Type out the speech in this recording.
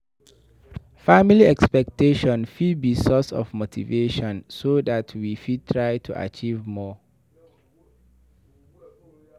Family expectation fit be source of motivation so dat we fit try to achieve more